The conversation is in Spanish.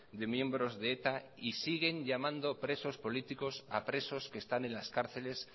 de miembros de eta y siguen llamando presos políticos a presos que están en las cárceles